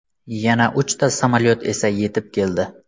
Yana uchta samolyot esa yetib keldi.